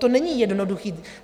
To není jednoduché.